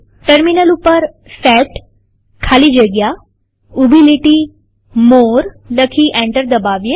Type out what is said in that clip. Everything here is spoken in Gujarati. ટર્મિનલ ઉપર સેટ ખાલી જગ્યા ઉભી લીટી મોરે લખી એન્ટર દબાવીએ